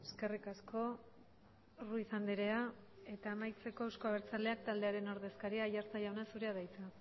eskerrik asko ruiz andrea eta amaitzeko euzko abertzaleak taldearen ordezkaria aiartza jauna zurea da hitza